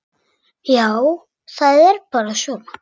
Já, það er bara svona.